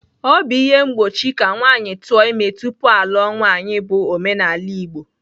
Obu ihe mgbochi ka nwanyi tuo ime tupu aluo nwanyi bu omenala igbo.